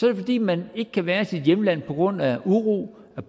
er det fordi man ikke kan være i sit hjemland på grund af uro